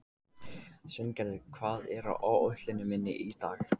Sveingerður, hvað er á áætluninni minni í dag?